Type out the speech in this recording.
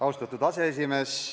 Austatud aseesimees!